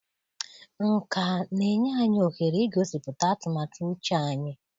Nkà na-enye anyị ohere igosipụta atụmatụ uche anyị.